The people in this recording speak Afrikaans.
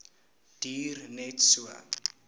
duur net so